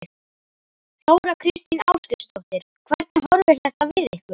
Þóra Kristín Ásgeirsdóttir: Hvernig horfir þetta við ykkur?